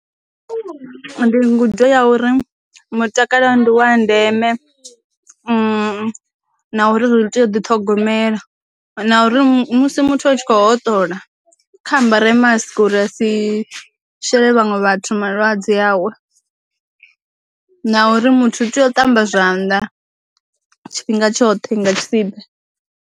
Ndi ngudo ya uri, mutakalo ndiwa ndeme na u ri tea u ḓi ṱhogomela, na uri musi muthu a tshi kho hoṱola kha ambara mask uri a si shele vhaṅwe vhathu malwadze awe, na uri muthu u tea u ṱamba zwanḓa tshifhinga tshoṱhe nga tshisibe.